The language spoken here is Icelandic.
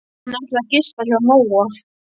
Hann ætlaði að gista hjá Nóa.